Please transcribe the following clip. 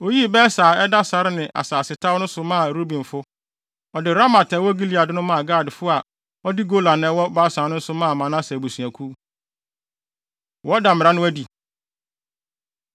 Oyii Beser a ɛda sare ne asase tataw so no maa Rubenfo. Ɔde Ramot a ɛwɔ Gilead no maa Gadfo na ɔde Golan a ɛwɔ Basan no nso maa Manase abusuakuw. Wɔda Mmara No Adi